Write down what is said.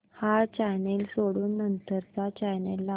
हा चॅनल सोडून नंतर चा चॅनल लाव